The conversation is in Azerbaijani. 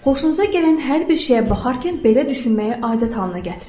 Xoşunuza gələn hər bir şeyə baxarkən belə düşünməyi adət halına gətirin.